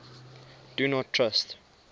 do not trust